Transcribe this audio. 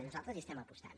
nosaltres hi estem apostant